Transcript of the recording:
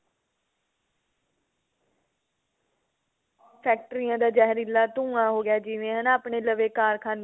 ਫ਼ੈਕਟਰੀਆਂ ਦਾ ਜਹਿਰੀਲਾ ਧੁੰਆ ਹੋ ਗਿਆ ਜਿਵੇਂ ਹਨਾ ਆਪਣੇ ਲਵੇ ਕਾਰਖਾਨੇ